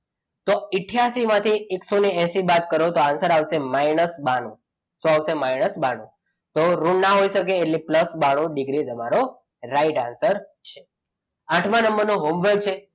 અઠયાસી માંથી એકસો એસી બાદ કરો તો આન્સર આવશે માઇનસ બાણું શું આવશે માઇનસ બાણું તો ઋણ ના હોઈ શકે એટલે પ્લસ બાણું ડિગ્રી તમારો રાઈટ આન્સર થશે આઠમા નંબરનો હોમવર્ક છે.